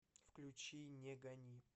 включи не гани